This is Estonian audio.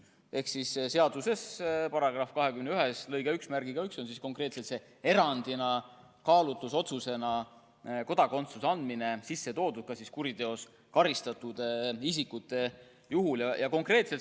" Ehk siis seaduse § 21 lõike 11 järgi on kaalutlusotsusena võimalik erandina kodakondsuse anda ka kuriteos karistatud isikutele.